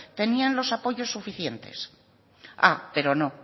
tenían los apoyos suficiente ah pero no